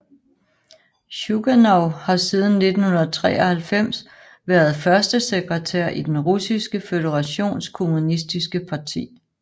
Sjuganov har siden 1993 været førstesekretær i Den Russiske Føderations Kommunistiske Parti